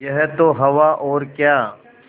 यह तो हवा और क्या